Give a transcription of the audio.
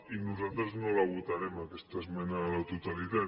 i nosaltres no la votarem aquesta esmena a la totalitat